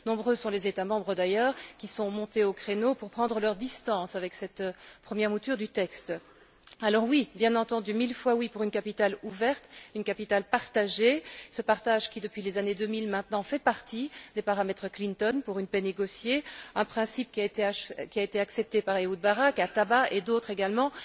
Nombreux sont les États membres, d'ailleurs, qui sont montés au créneau pour prendre leurs distances avec cette première mouture du texte. Alors oui, bien entendu, mille fois oui pour une capitale ouverte, une capitale partagée, ce partage qui, depuis les années 2000 maintenant, fait partie des paramètres Clinton pour une paix négociée, un principe qui a été accepté par Ehud Barak à Taba, et par d'autres également.